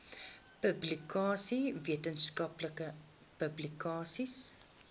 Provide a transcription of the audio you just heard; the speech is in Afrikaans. publikasies wetenskaplike publikasies